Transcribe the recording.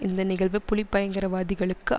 இந்த நிகழ்வு புலி பயங்கரவாதிகளுக்கு